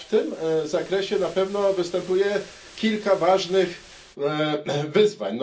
W tym zakresie na pewno występuje kilka ważnych wyzwań.